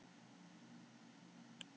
Sigurbjartur lítur í kringum sig.